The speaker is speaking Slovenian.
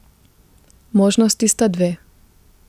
Možnosti sta dve.